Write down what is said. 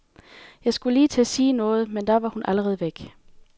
Jeg skulle lige til at sige noget, men da var hun allerede væk.